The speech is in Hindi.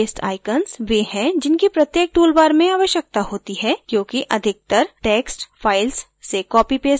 paste icons वे हैं जिनकी प्रत्येक toolbar में आवश्यकता होती है क्योंकि अधिकतर text files से copy paste होता है